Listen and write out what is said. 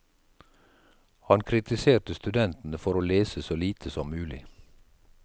Han kritiserte studentene for å lese så lite som mulig.